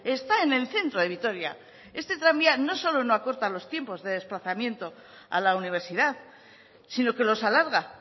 está en el centro de vitoria este tranvía no solo acorta los tiempos de desplazamiento a la universidad sino que los alarga